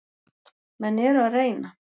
Menn eru að reyna.